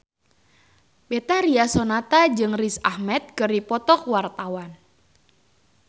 Betharia Sonata jeung Riz Ahmed keur dipoto ku wartawan